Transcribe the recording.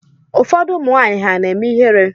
Ụfọdụ ụmụnwanyị ha na-eme ihere?